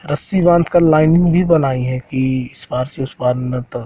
रस्सी बांध कर लाइन भी बनाई है कि इस पार से उस पार